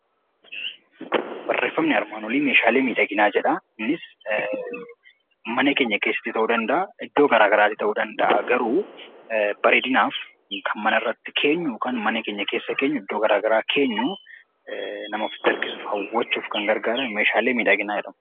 Barreeffamni armaan olii Meeshaalee miidhaginaa jedha. Innis mana keessatti ta'uu danda'a, iddoo garaagaraa illee ta'uu danda'a bareedinaaf kan manatti keenyu yookaan mana keessa keenyu, yookaan iddoo garaagaraa nama ofitti harkisuuf garaagaru Meeshaalee miidhaginaa jedhamu.